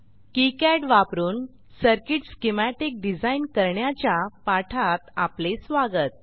KiCad वापरून circuit schematic design करण्याच्या पाठात आपले स्वागत